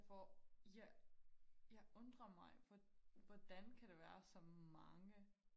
jeg får jeg jeg undrer mig hvor hvordan kan der være så mange